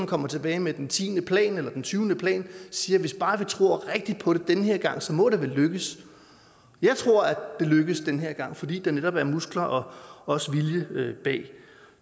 kommer tilbage med den tiende plan eller den tyvende plan og siger hvis bare vi tror rigtigt på det den her gang må det vel lykkes jeg tror at det lykkes den her gang fordi der netop er muskler og også vilje bag